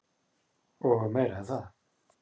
Og meira en það.